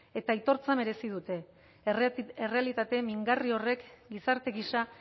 eta aitortza merezi dute errealitate mingarri horrek gizarte gisa